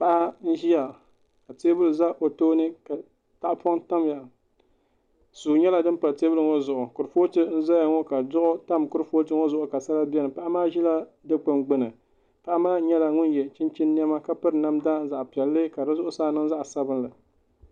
Paɣa n ʒiya ka teebuli ʒɛ o tooni ka tahapoŋ tamya suu nyɛla din pa teebuli ŋo zuɣu kurifooti n ʒɛya ŋi ka duɣu tam kurifooti ŋo zuɣu ka sala bɛni paɣa maa ʒila dikpuni gbuni paɣa maa nyɛla ŋun yɛ chunchini niɛma ka piri zaɣ piɛlli ka di zuɣusaa niŋ zaɣ sabinli